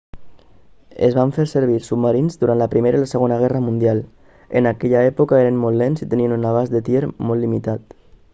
es van fer servir submarins durant la primera i la segona guerra mundial en aquella època eren molt lents i tenien un abast de tir molt limitat